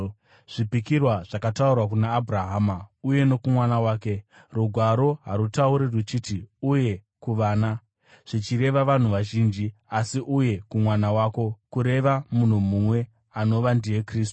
Zvipikirwa zvakataurwa kuna Abhurahama uye nokumwana wake. Rugwaro harutauri ruchiti “uye kuvana,” zvichireva vanhu vazhinji, asi “uye kumwana wako,” kureva munhu mumwe, anova ndiye Kristu.